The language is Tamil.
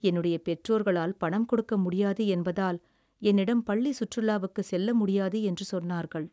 என்னுடைய பெற்றோர்களால் பணம் கொடுக்க முடியாது என்பதால் என்னிடம் பள்ளி சுற்றுலாவுக்கு செல்ல முடியாது என்று சொன்னார்கள்.